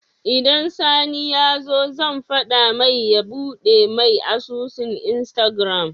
Idan sani yazo zan fada mai ya buɗe me asusun instagram